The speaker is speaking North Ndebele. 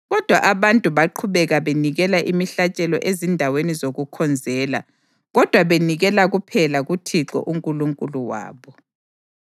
Kodwa abantu baqhubeka benikela imihlatshelo ezindaweni zokukhonzela, kodwa benikela kuphela kuThixo uNkulunkulu wabo.